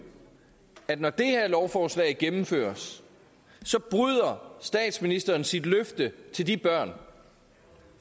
at når det her lovforslag gennemføres bryder statsministeren sit løfte til de børn